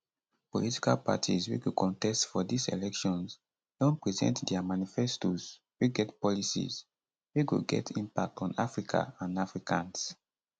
political parties wey go contest for these elections don present dia manifestoes wey get policies wey go get impact on africa and africans